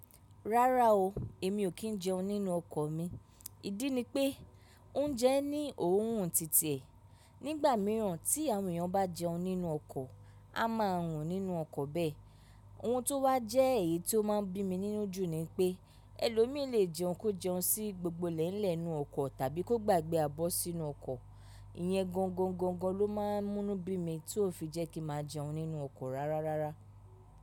Rárá o, èmi ò kí ń jẹun nínú ọkọ̀ mi. Ìdí ni pé oúnjẹ ní òórùn títẹ̀. Nígbà mìíràn tí àwọn èèyàn bá jẹun nínú ọkọ̀, a máa rùn nínú ọkọ̀ bẹ́ẹ̀. Ohun tó wá jẹ́ èyí tó máa ń bí mi nínú jù ni wipé ẹlòmíì lè jẹun kó jẹun sí gbogbo lélẹ̀ inú ọkọ̀ tàbí kó gbàgbé abọ́ sínú ọkọ̀. Ìyẹn gọ̀ǹgọ̀ǹgọ̀ǹgọ̀ ló máa ń mú bí mi tí ó fi jẹ́ kí máa jẹun nínú ọkọ̀ rárárárá.